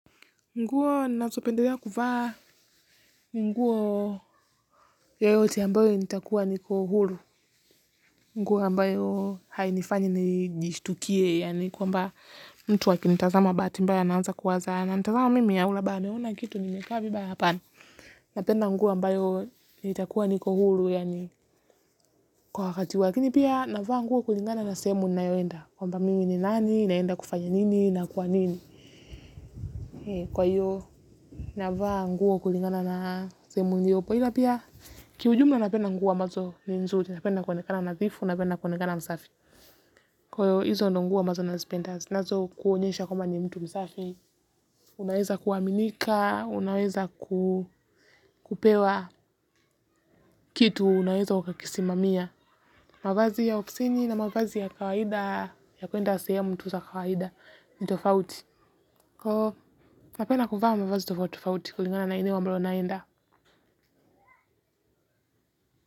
Nguo ninazopendelea kuvaa ni nguo yoyote ambayo nitakuwa niko huru. Nguo ambayo hainifanyi nijishtukie yaani kwa mba mtu akini tazama bahati mba ya naanza kuwaza. Ananitazama mimi yaula bane hauna kitu nimekaa vi baya hapana. Napenda nguo ambayo nitakuwa niko huru yaani kwa wakati wa lakini pia navaa nguo kulingana na sehemu ninayoenda. Kwa mba mimi ni nani, naenda kufanya nini na kwa nini. Kwa hiyo, navaa nguo kulingana na sehemu niliyo. Kwa hila pia, kiujumla napenda nguo ambazo ni nzuri, napenda kuonekana nadhifu, napenda kuonekana msafi. Kwa hio hizo ndo nguo ambazo nazipenda, zinazo kuonyesha kwamba ni mtu msafi. Unaweza kuaminika, unaweza kupewa kitu, unaweza ukakisimamia. Mavazi ya ofsini na mavazi ya kawaida, ya kwenda sehemu tu za kawaida, ni tofauti. Koo, napenda kuvaa mavazi tofauti tofauti, kulingana na ile mambolo unaenda.